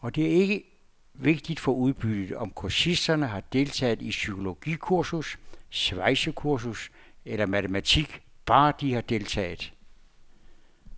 Og det er ikke vigtigt for udbyttet, om kursisterne har deltaget i psykologikursus, svejsekursus eller matematik, bare de har deltaget.